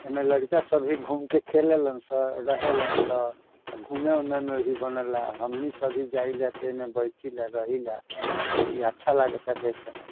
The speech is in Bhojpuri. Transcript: एमे लड़का सब भी घूम के खेले लन रहेलन अ घूमे उमे में भी बनेला हमनी सब भी जाइला ते एमे बैठीला इ अच्छा लगाता देखे में।